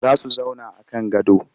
Za su zauna a kan gado